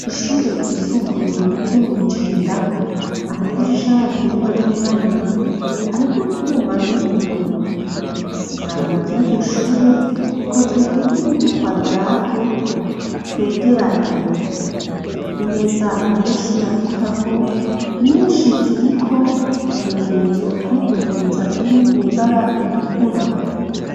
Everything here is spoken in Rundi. Ishure ryisumbuye, ryo mw'i Jenda, amadirisha yaryo, ni manini manini, ariko utwuma n'ibiyo; isima ry'iryo shure, rikoze mu buryo, bw'udukwadarato, twegeranye; imeza, abanyeshure bandikako, nyinshi ziriko, utumenyetso two kugwiza, turi mw'ibara ritukura.